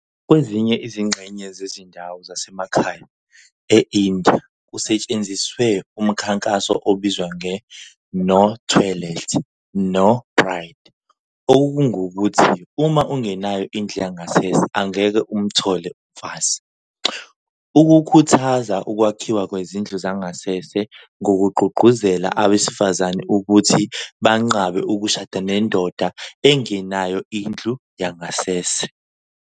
Kwezinye izingxenye zezindawo zasemakhaya e-India kusetshenziswe umkhankaso obizwa nge-"No Toilet, No Bride", okungukuthi uma ungenayo indlu yangasese angeke umthole umfazi, ukukhuthaza ukwakhiwa kwezindlu zangasese ngokugqugquzela abesifazane ukuthi banqabe ukushada nendoda engenayo indlu yangasese.